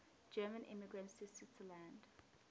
german immigrants to switzerland